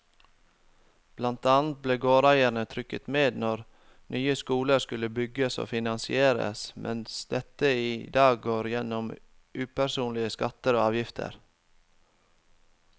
Blant annet ble gårdeierne trukket med når nye skoler skulle bygges og finansieres, mens dette i dag går gjennom upersonlige skatter og avgifter.